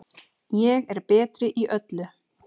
Ég er betri í öllu.